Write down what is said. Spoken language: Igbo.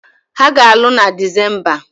Ha ga-alụ na Disemba